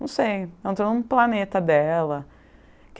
Não sei, entrou no planeta dela.